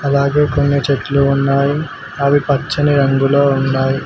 అలాగే కొన్ని చెట్లు ఉన్నాయి అవి పచ్చని రంగులో ఉన్నాయి